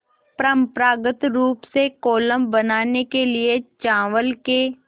परम्परागत रूप से कोलम बनाने के लिए चावल के